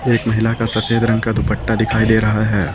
एक महिला का सफेद रंग का दुपट्टा दिखाई दे रहा है।